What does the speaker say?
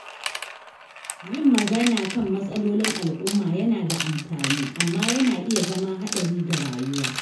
Yin magana kan matsalolin al’umma yana da amfani, amma yana iya zama haɗari ga rayuwa.